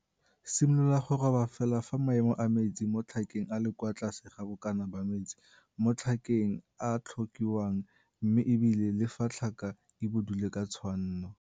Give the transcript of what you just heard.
Simolola go roba fela fa maemo a metsi mo tlhakeng a le kwa tlase ga bokana ba metsi mo tlhakeng a a tlhokiwang mme e bile le fa tlhaka e budule ka tshwanno.